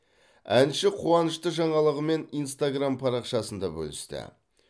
әнші қуанышты жаңалығымен инстаграм парақшасында бөлісті